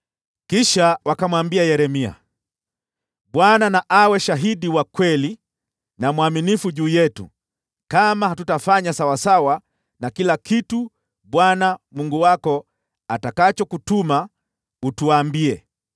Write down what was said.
Kisha wakamwambia Yeremia, “ Bwana na awe shahidi wa kweli na mwaminifu kati yetu kama hatutafanya sawasawa na kila kitu Bwana Mungu wako atakachokutuma utuambie.